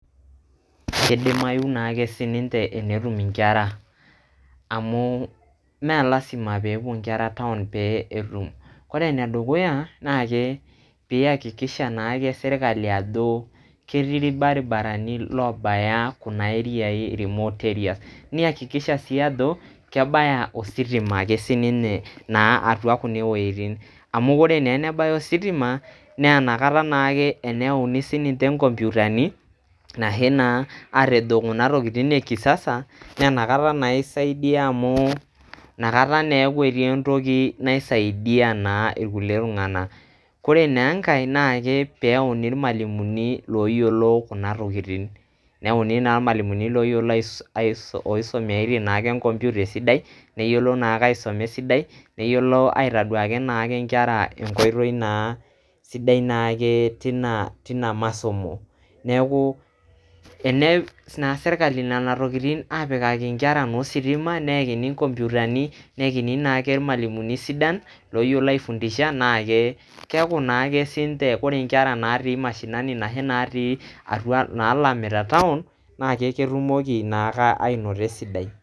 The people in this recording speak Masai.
Keidimayu naa ake sii ninche enetum nkera amu mme lazima pee epuo nkera town pee etum. Ore e nedukuya naake, pee iyakikisha naake sirkali ajo ketii ilbaribarani loobaya kuna area i remote areas. Neyakikisha sii ajo kebaya ositima ake sii ninye atua kuna wuejitin. Amu ore naa tenebaya ositima naa inakata naake teneyauni naa sii ninche inkomputani nashe naa matejo kuna tokitin e kisasa naa inakata naa isaidia amu inakata naa eeku ketiie entoki naisaidia naa ilkulie tung`anak. Ore naa enkae naa pee eyauni ilmalimuni ooyiolo kuna tokitin neyauni naa ilmalimuni ooyiolo aisum loisumiata naake computer esidai neyiolo naake aisuma esida neyiolo aitoduaki naake nkera enkoitoi naa sidai naake teina teina masomo. Niaku teneas naake sirkali nena tokitin aapikaki nkera naa ositima neyakini nkomputani, neyakini naake ilmalimuni sidan looyiolo ai fundisha naa keeku naake sii ninche ore nkera natii mashinani ashu natii atua nalamita [cs[ town naa ketumoki naake aanoto esidai.